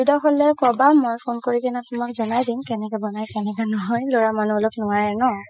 হ'লে কবা মই phone কৰি কিনে তুমাক জনাই দিম কেনেকে নাই কেনেকে নহয় লৰা মানুহ অলপ নোৱাৰে ন